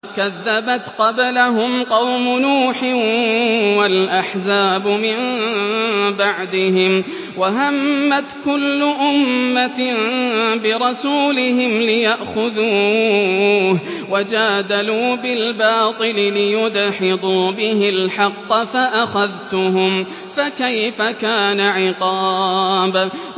كَذَّبَتْ قَبْلَهُمْ قَوْمُ نُوحٍ وَالْأَحْزَابُ مِن بَعْدِهِمْ ۖ وَهَمَّتْ كُلُّ أُمَّةٍ بِرَسُولِهِمْ لِيَأْخُذُوهُ ۖ وَجَادَلُوا بِالْبَاطِلِ لِيُدْحِضُوا بِهِ الْحَقَّ فَأَخَذْتُهُمْ ۖ فَكَيْفَ كَانَ عِقَابِ